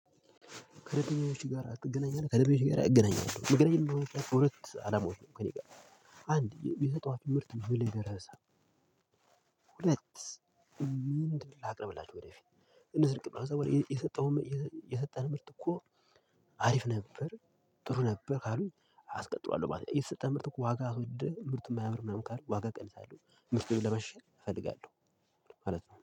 ከደበኞች ጋር ትገናኛለህ ከደበኞች ጋር እገናኛለሁ እመገናኘት ምክንያት በሁለት አላማዎች ነው ከእኔ ጋ አንድ የሰጠዋቸው ምርት ምን ላይ ደረሰ? ሁለት ምንድን ላቅርብላችሁ ወደፊት። እነዝህን አስበሀኸዋል የሰጠው የሰጠን ምርት እኮ አሪፍ ነበር ጥሩ ነበር ካሉኝ አስቀጥሏለሁ ማለት ነው። የተሰጠህ ምርት እኮ ዋጋ አስወድህ ምርት እማያምር ምናምን ካሉ ዋጋ እቀንሳለሁ ምርቴንም ለማሻሻል እፈልጋለሁ። ማለት ነው